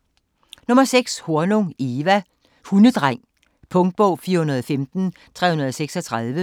Hornung, Eva: Hundedreng Punktbog 415336